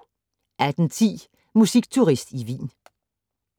18:10: Musikturist i Wien